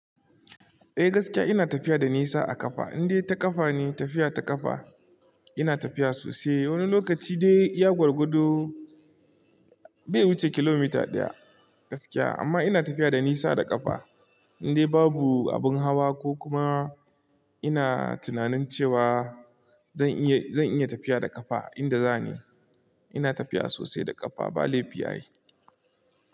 Eh gaskiya ina tafiya da nisa a ƙafa, indai ta ƙafa ne, tafiya ta ƙafa ina tafiya sosai. Wani lokaci dai iya gwargwado bai wuce kilomita ɗaya gaskiya amma ina tafiya da nisa da ƙafa indai babu abin hawa ko kuma ina tunanin cewa zan iya, zan iya tafiya da ƙafa inda za ni ina tafiya sosai da ƙafa ba laifi a yi.